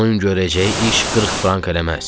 Onun görəcəyi iş 40 frank eləməz.